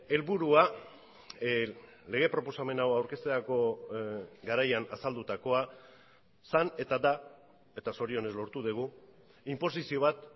helburua lege proposamen hau aurkezterako garaian azaldutakoa zen eta da eta zorionez lortu dugu inposizio bat